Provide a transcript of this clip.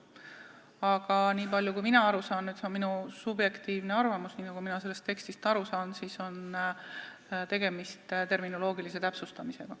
Aga niipalju kui mina sellest tekstist aru saan – see on minu subjektiivne arvamus –, on tegemist terminoloogilise täpsustusega.